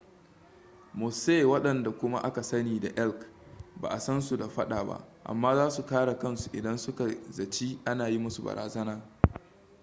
mosse wandanda kuma aka sani da elk ba a san su da faɗa ba amma za su kare kansu idan suka zaci ana yi musu barazana